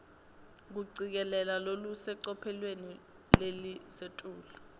kucikelela lolusecophelweni lelisetulu